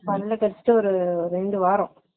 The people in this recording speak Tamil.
பல்ல கடுச்சிட்டு ஒரு ரெண்டு வாரம்